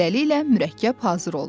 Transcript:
Beləliklə, mürəkkəb hazır oldu.